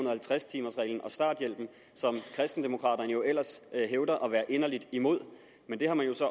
og halvtreds timers reglen og starthjælpen som kristendemokraterne jo ellers hævder at være inderligt imod men det har man